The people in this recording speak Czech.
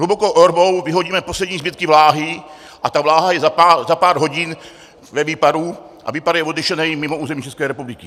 Hlubokou orbou vyhodíme poslední zbytky vláhy a ta vláha je za pár hodin ve výparu a výpar je odnesený mimo území České republiky.